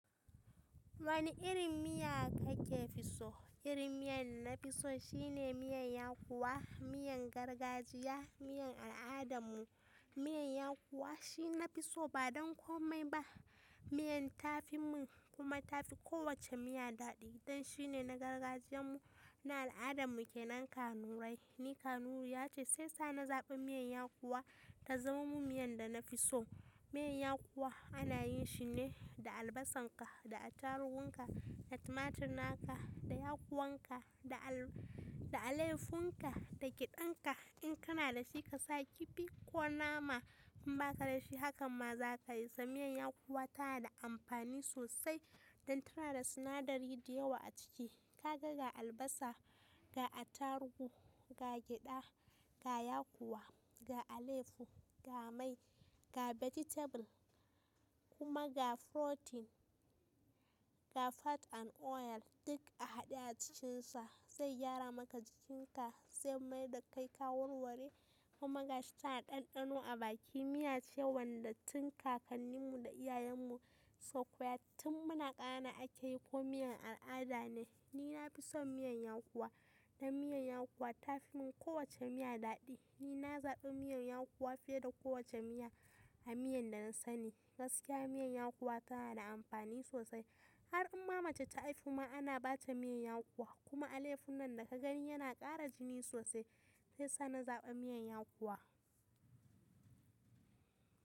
Wani irin miya kake so? Irin miyan nafi so shine miyan yakuwa, miyan gargajiya, miyan al'adarmu. Miyan yakuwa shi nafi so ba don komai ba. Miyar tafi mun kuma tafi kowacce miya daɗi. Dan shine na gargajiyan mu, na al'adan mu kenan kanurai. Ni Kanuriya ce sai sa na zaɓi miyan yakuwa ta zama mu miyan da nafi so. Miyan yakuwa ana yin shi ne da albasan ka, da attarugun ka, da tumatirin ka, da yakuwan ka, da al- da alefun ka, da giɗan ka. In kana da shi ka sa kifi ko nama in ba ka da shi hakan ma za ka yi. Sa miyan yakuwa ta na da amfani sosai dan tana da sinadari da yawa a ciki. Ka ga ga albasa, ga attarugu, ga geɗa, ga yakuwa, ga aleyahu ga mai, ga vegetable kuma ga protein, ga fat an oil duk a haɗe a cikinsa. Zai gyara maka jikin ka sai mai da kai kawurware kuma ga shi tana ɗanɗano a baki. Miya ce wanda tun kakannin mu da iyayen mu sukoya tun muna ƙane akeyi ko miyan al'ada ne. Ni nafi son miyan yakuwa dan miyan yakuwa tafi mun kowacce miya daɗi. Ni na zaɓi miyan yakuwa fiye da kowacce miya a miyan da na sani. Gaskiya miyan yakuwa tana da amfani sosai. Har amma mace ta haihu ma ana bata miyan yakuwa. Kuma alefun nan daga gani yana ƙara jini sosai. Sai sa na zaɓa miyan yakuwa.